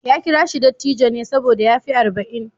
Ya kira shi dattijo ne saboda ya fi arba'in.